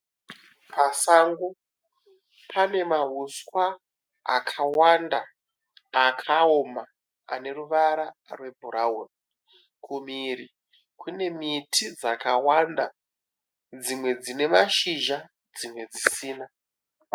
Pasango pane mauswa akawanda akaoma ane ruvara rwe brown, kumhiri kune miti dzakawanda dzimwe dzine mashizha dzimwe dzisina.